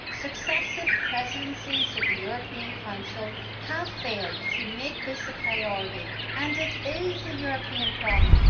Successive presidencies of the European Council have failed to make this a priority, but it is a European problem.